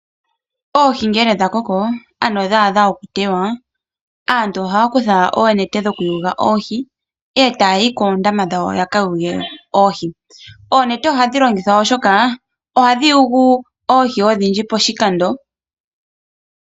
Oohi ngele dha koko, ano ngele dha adha okutewa, aantu ohaya kutha oonete dhokuyula oohi, eta ya yi koondama dhawo yaka yule oohi. Oonete ohadhi longithwa oshoka ohadhi yulu oohi odhindji poshikando.